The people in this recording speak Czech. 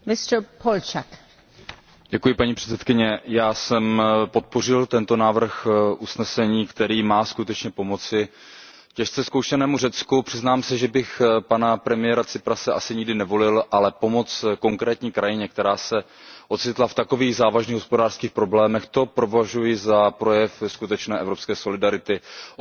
Paní předsedající, já jsem podpořil tento návrh usnesení, který má skutečně pomoci těžce zkoušenému Řecku. Přiznám se, že bych pana premiéra Tsiprase asi nikdy nevolil, ale pomoc konkrétní krajině, která se ocitla v takových závažných hospodářských problémech, to považuji za projev skutečné evropské solidarity, o které tady hovoříme v mnoha ohledech.